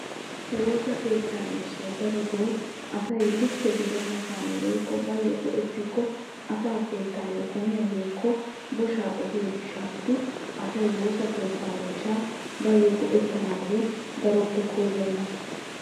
Woosa keetta miishshan asay likke gidenna hanotan go'ettikko asaa keettassi gomiya woykko boshshaa ehiyo gishawu asay go'ettanna koyenna.